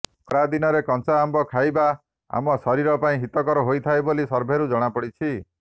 ଖରାଦିନରେ କଞ୍ଚା ଆମ୍ବ ଖାଇବା ଆମ ଶରୀର ପାଇଁ ହିତକର ହୋଇଥାଏ ବୋଲି ସର୍ଭେରୁ ଜଣାପଡ଼ିଛି